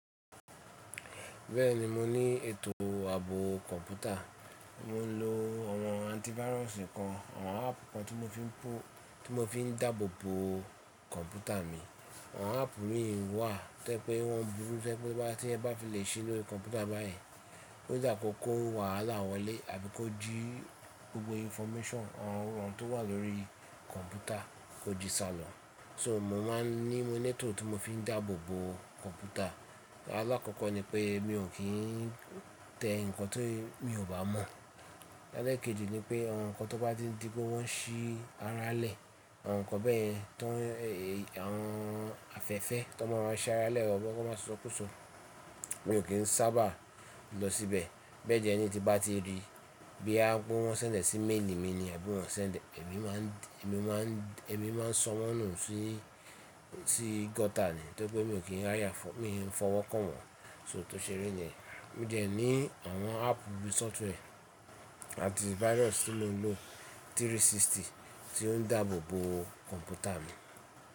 Bẹ́ẹ̀ni mo ní ètò ààbò kọ̀ǹpútà, mo ń lo àwọn antivirus kan, àwọn áàpù kan tí mo fi ń dabobo kọ̀ǹpútà mi. Àwọn áàpù mìí wà tó jẹ́ pé wọ́n burú tó jẹ́ pé bá ti ẹ bá fi lè ṣe lórí kọ̀ǹpútà báyìí, ó dá ko kó wàhálà wọlé àbí kó jí gbogbo information àwọn ohun tó wà lórí kọ̀ǹpútà kó jí salọ. So mo máa ń ní, mo leto tí mo fi ń dàbobo kọ̀ǹpútà. Alákọ̀ọ́kọ́ ni pé mi ò kí n tẹ nǹkan tí mi ò bá mọ̀. Ẹ̀lẹ́ kejì ni pé àwọn nǹkan tó bá tíń di pe wọ́n ṣí aralẹ̀, àwọn nǹkan bẹ́ẹ̀ tan, àwọn afẹ́fẹ́ tó máa wa ń ṣ'aralẹ̀ o lọ kó máa sọkúsọ, mi ò kí n sábà lọ síbẹ̀. Bẹ́ẹ̀ tí ẹni tí bá ti rí bí à á bú wọn sẹ́ńdẹ̀ sí maili mi ni àbí ìwọ̀n sẹ́ńdẹ̀, èmi máa ń, èmi máa ń, èmi máa ń sọ́wọ́n nù sí, sí gutter ni to ri pé mi í n fọwọ́kàn wọ́n. So tó ṣe ri niyẹn, mo dẹ ní àwọn áàpù bí software antivirus tí mo ń lo 360 tí ó ń dabobo kọ̀ǹpútà mi.